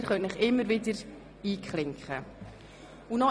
Sie können sich immer wieder einklinken.